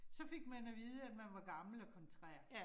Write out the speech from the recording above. Så fik man at vide, at man var gammel og kontrær